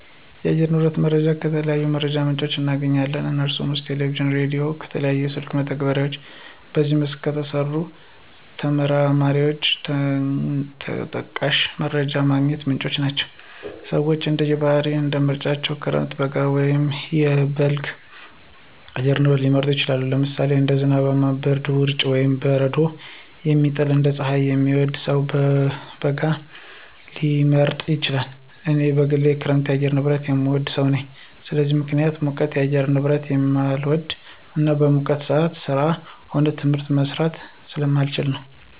የአየር ንብረት ሁኔታ መረጃን ከተለያዩ የመረጃ ምንጮች እናገኛለን። ከነሱም ውስጥ ከቴሌቪዥን፣ ከራዲዮ፣ ከተለያዩ የስልክ መተግበሪያዎች በዚህ መስክ ከተሰማሩ ተመራማሪዎች ተጠቃሽ የመረጃ ማግኛ ምንጮች ናቸው። ሰወች እንደየ ባህሪያቸው እና ምርጫቸው ክረምት፣ በጋ ወይም በልግ የአየር ንብረት ሊመርጡ ይችላሉ። ለምሳሌ አንድ ዝናብን፣ ብርድን፣ ውርጭን ወይም በረዶን የሚጠላ እና ፀሀይን የሚወድ ሰው በጋን ሊመርጥ ይችላል። እኔ በግሌ የክረምት የአየር ንብረትን የምወድ ሰው ነኝ። ለዚህም ምክንያቴ ሙቀት የአየር ንብረትን ስለማልወድ እና በሙቀት ሰአት ስራም ሆነ ትምህርት መስራት ስለማልችል ነው።